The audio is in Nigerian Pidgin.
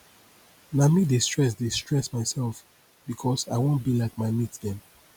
na me dey stress dey stress mysef because i wan be like my mate dem